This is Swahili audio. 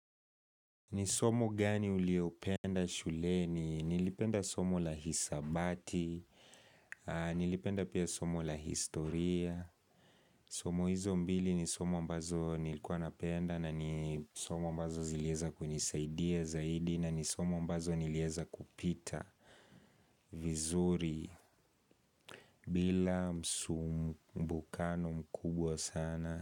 Ni somo gani uliopenda shuleni, nilipenda somo la hisabati, nilipenda pia somo la historia Somo hizo mbili ni somo ambazo nilikuwa napenda na ni somo ambazo zileweza kunisaidia zaidi na ni somo ambazo nileweza kupita vizuri bila msumbukano mkubwa sana.